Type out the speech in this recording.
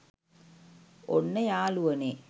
ඔන්න යාළුවනේ